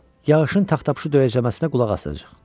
Yağışın taxtapşu döyəcləməsinə qulaq asacağıq.